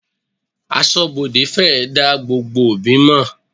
Aṣọ́bodè fèrè dá gbogbo òbí mọ̀.